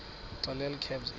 xelel kabs iphi